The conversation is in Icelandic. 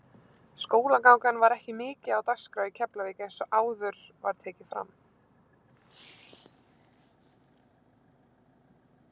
Skólaganga var ekki mikið á dagskrá í Keflavík eins og áður var tekið fram.